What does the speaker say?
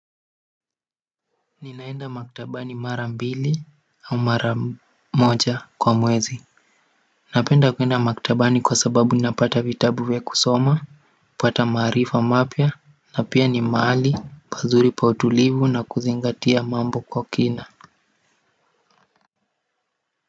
Ninaenda maktabani mara mbili au mara moja kwa mwezi napenda kuenda maktabani kwa sababu ninapata vitabu vya kusoma kupata maarifa mapya na pia ni mahali pazuri pa utulivu na kuzingatia mambo kwa kina.